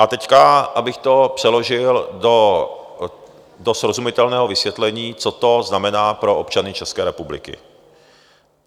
A teď, abych to přeložil do srozumitelného vysvětlení, co to znamená pro občany České republiky.